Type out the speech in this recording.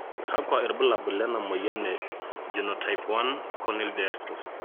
kakua irbulabol lena moyian e Groenouw type I corneal dystrophy?